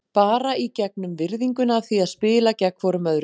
Bara í gegnum virðinguna af því að spila gegn hvorum öðrum.